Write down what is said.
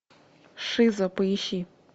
шиза поищи